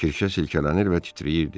Kirşə silkələnir və titrəyirdi.